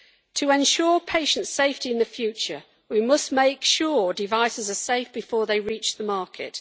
To ensure patient safety in the future we must make sure devices are safe before they reach the market.